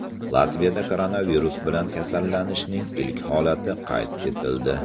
Latviyada koronavirus bilan kasallanishning ilk holati qayd etildi.